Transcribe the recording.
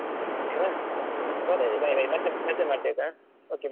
Okay ನಾ ಮತ್ತೆ ಮಾಡ್ತೇನೆ ಆಯ್ತಾ okay bye .